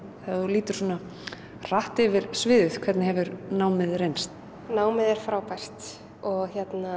þegar þú lítur hratt yfir hvernig hefur námið reynst námið er frábært og